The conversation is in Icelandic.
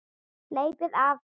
Hleypið af!